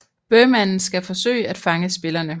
Bøhmanden skal forsøge at fange spillerne